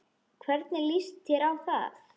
Hvernig líst þér á það?